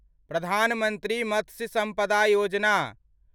प्रधान मंत्री मत्स्य सम्पदा योजना